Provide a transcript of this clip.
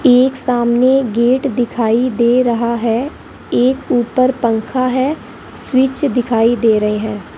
एक सामने गेट दिखाई दे रहा है एक ऊपर पंखा है स्विच दिखाई दे रहे हैं।